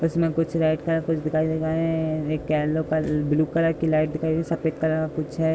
इसमें कुछ red colour का कुछ दिखाई दे रहे हैं। एक येलो कलर ब्‍लू कलर की लाईट दिखाई दे रही सफेद कलर का कुछ है।